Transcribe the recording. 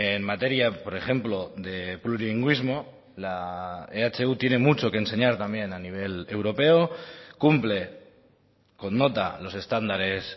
en materia por ejemplo de plurilingüismo la ehu tiene mucho que enseñar también a nivel europeo cumple con nota los estándares